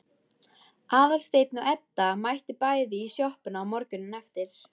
Aðalsteinn og Edda mættu bæði í sjoppuna morguninn eftir.